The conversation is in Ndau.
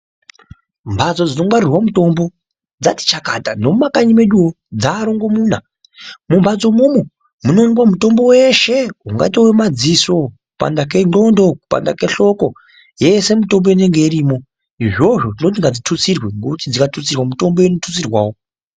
Mbatso dzinongwarirwa mutombo dzati chakata. Nemumakanyi meduwo dzaarongomuna. Mumbatso imwomwo munowanikwa mutombo weshe, ungaita wemadziso, kupanda kendxondo, kupanda kehloko yeshe mutombo inonga irimo. Izvozvo tinoti ngazvitutsirwe ngekuti zvikatutsirwa mitombo inotutsirwawo.